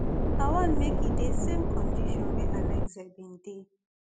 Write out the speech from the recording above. i want make e dey same condition wey alexei bin dey